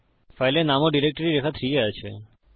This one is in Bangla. ফাইলের নাম ও ডিরেক্টরি রেখা 3 এ আছে